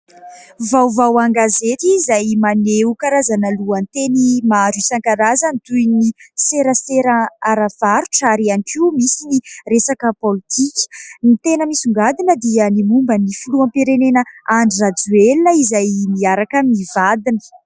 Vaovao an-gazety izay maneho karazana lohateny maro isankarazany, toy ny : serasera ara-barotra, ary ihany koa misy ny resaka politika. Ny tena misongadina dia ny momba ny filoham-pirenena Andry Rajoelina, izay miaraka amin'ny vadiny.